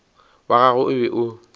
wa gagwe o be o